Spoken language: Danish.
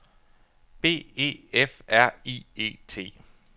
B E F R I E T